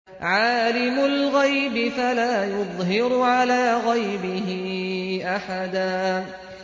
عَالِمُ الْغَيْبِ فَلَا يُظْهِرُ عَلَىٰ غَيْبِهِ أَحَدًا